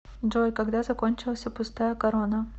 джой когда закончился пустая корона